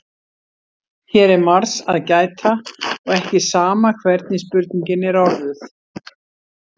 Hér er margs að gæta og ekki sama hvernig spurningin er orðuð.